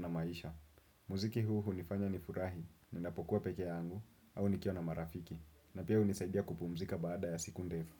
na maisha. Muziki huu hunifanya ni furahi, ninapokuwa peke yangu au nikiwa na marafiki. Na pia hunisaibia kupumzika baada ya siku ndefu.